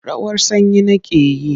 Rawar sanyi nake yi.